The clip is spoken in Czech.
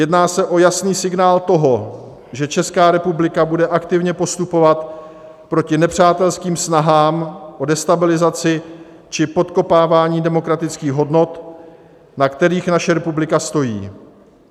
Jedná se o jasný signál toho, že Česká republika bude aktivně postupovat proti nepřátelským snahám o destabilizaci či podkopávání demokratických hodnot, na kterých naše republika stojí.